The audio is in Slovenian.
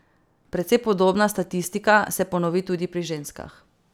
Precej podobna statistika se ponovi tudi pri ženskah.